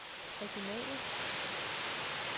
regionale